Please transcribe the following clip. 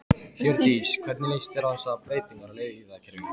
Hjördís: Og hvernig líst þér á þessar breytingar á leiðakerfinu?